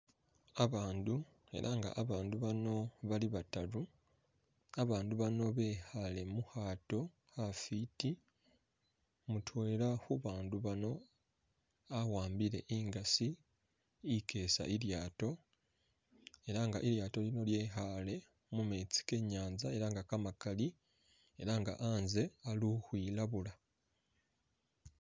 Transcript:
Abandu ela nga bandu bano bali bataru abandu bano bekhale mukhaato khafiti mutwela khubatu bano awambile ingasi ikeesa ilyaato ela nga ilyaato lino likhaale mumeetsi kenyatsa ela nga kamakali ela nga khatse hali ukhwilabula.